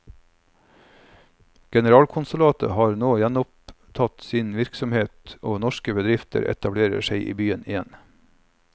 Generalkonsulatet har nå gjenopptatt sin virksomhet og norske bedrifter etablerer seg igjen i byen.